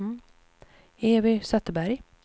Evy Zetterberg